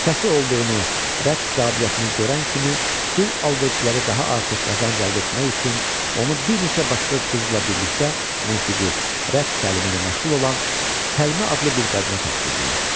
Səsi olduğunu, rəqs qabiliyyətini görən kimi, qul alverçiləri daha artıq qazanc əldə etmək üçün onu bir neçə başqa qızla birlikdə musiqi, rəqs təlimi ilə məşğul olan Səlmə adlı bir qadına tapşırdılar.